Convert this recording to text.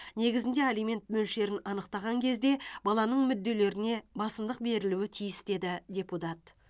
негізінде алимент мөлшерін анықтаған кезде баланың мүдделеріне басымдық берілуі тиіс деді депутат